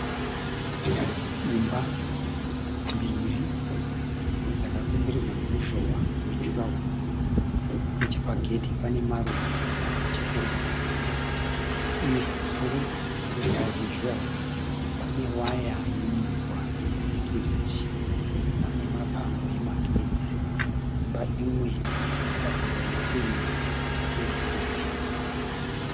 Imba mbiri dzakakomberedzwa noruzhowa rwejuraworo. Nechepagedhi pane maruva akachekererwa akanaka uye pamusoro peruzhowa rwejuraworo pane waya yeminzwa yesekiyuriti. Pane mapango emagetsi. Imba imwe yakapendwa nependi yegireyi.